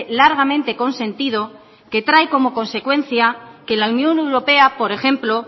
largamente consentido que trae como consecuencia que la unión europea por ejemplo